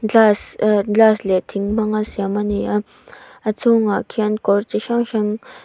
glass ehh glass leh thing hmang a siam a ni a a chhungah khian kawr chi hrang hrang--